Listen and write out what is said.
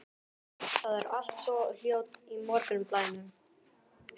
Það er allt svo hljótt í morgunblænum.